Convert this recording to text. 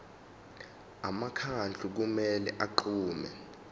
umkhandlu kumele unqume